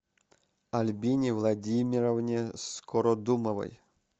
альбине владимировне скородумовой